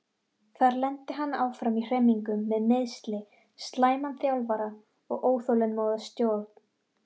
Þar lenti hann áfram í hremmingum með meiðsli, slæman þjálfara og óþolinmóða stjórn.